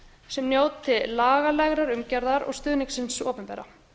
sem njóti lagalegrar umgjarðar og stuðnings hins opinbera